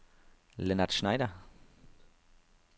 Lennart Schneider